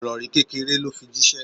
Ìrori kékéré lo fi jísé